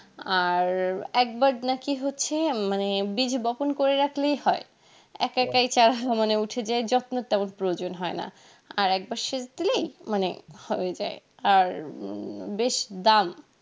আর একবার নাকি হচ্ছে মানে বিচ বপন করে রাখলেই হয় একা একাই চা মানে উঠে যাই যত্নের তেমন প্রয়োজন হয় না আর একবার সেচ দিলেই মানে হয়ে যাই আর উম বেশ দাম